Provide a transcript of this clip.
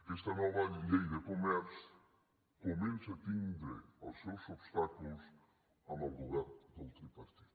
aquesta nova llei de comerç comença a tindre els seus obstacles amb el govern del tripartit